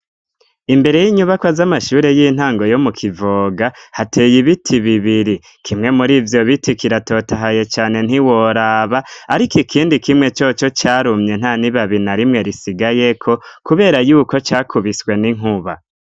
Imbere y'inyubaka z'amashure y'intango yo mu kivoga hateye ibiti bibiri kimwe muri ivyo biti kiratotahaye cane ntiworaba, ariko ikindi kimwe coco carumye nta nibabi na rimwe risigayeko, kubera yuko cakubiswe n'inkuba.